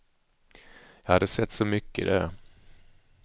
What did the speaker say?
Jag hade sett så mycket där.